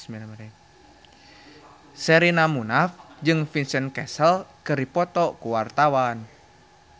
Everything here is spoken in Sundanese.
Sherina Munaf jeung Vincent Cassel keur dipoto ku wartawan